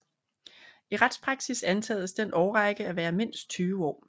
I retspraksis antages den årrække at være mindst 20 år